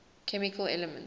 chemical elements